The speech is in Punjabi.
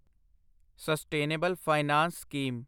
sustainable finance scheme